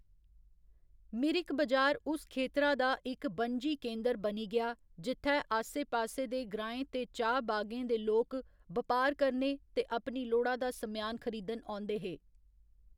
मिरिक बजार उस खेतरा दा इक बनजी केंदर बनी गेआ जित्थै आसे पासे दे ग्राएं ते चाह्‌‌ बागें दे लोक बपार करने ते अपनी लोड़ा दा सम्यान खरीदन औंदे हे।